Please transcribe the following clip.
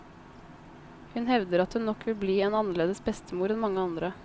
Hun hevder at hun nok vil bli en annerledes bestemor enn mange andre.